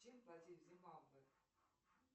чем платить в зимбабве